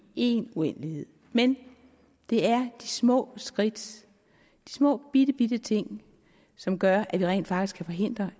en uendelighed men det er de små skridt de små bitte bitte ting som gør at vi rent faktisk kan forhindre